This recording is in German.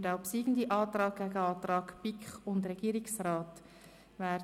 Der obsiegende Antrag wird dem Antrag BiK und Regierungsrat gegenübergestellt.